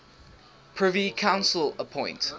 privy council appoint